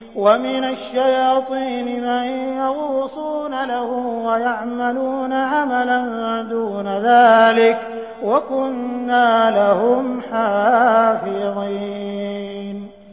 وَمِنَ الشَّيَاطِينِ مَن يَغُوصُونَ لَهُ وَيَعْمَلُونَ عَمَلًا دُونَ ذَٰلِكَ ۖ وَكُنَّا لَهُمْ حَافِظِينَ